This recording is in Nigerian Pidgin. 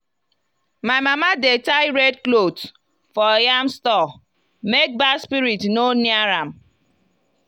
my mama dey tie red cloth for yam store make bad spirit no near am